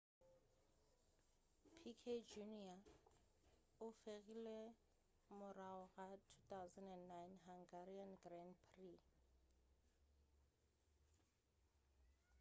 piquet jr o fegilwe ka morago ga 2009 hungarian grand prix